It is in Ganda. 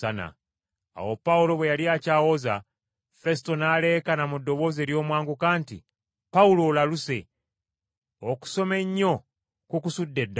Awo Pawulo bwe yali akyawoza Fesuto n’aleekaana mu ddoboozi ery’omwanguka nti, “Pawulo, olaluse! Okusoma ennyo kukusudde eddalu!”